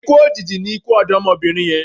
Ikú òjijì ni ikú ọ̀dọ́mọbìnrin yẹn